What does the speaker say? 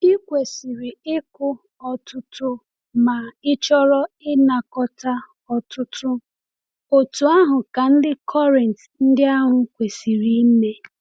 I kwesịrị ịkụ ọtụtụ ma ịchọrọ ịnakọta ọtụtụ, otú ahụ ka ndị Kọrịnt ndị ahụ kwesiri ime.